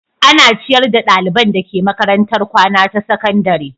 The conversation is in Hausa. Ana ciyar da ɗaliban dake makarantar kwana ta sakandare.